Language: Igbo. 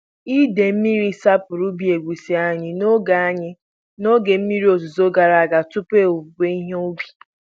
Ide mmiri sapuru ubi egusi anyị n'oge anyị n'oge mmiri ozuzo gara aga tupu owuwe ihe ubi.